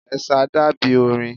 Ẹ̀sà dàbí orin.